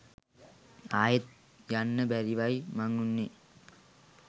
ආයෙත් යන්න බැරිවයි මං උන්නෙ